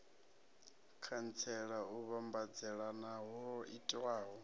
khantsela u vhambadzelana ho itiwaho